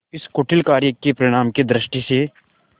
इस कुटिल कार्य के परिणाम की दृष्टि से